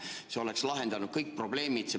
See oleks lahendanud kõik probleemid.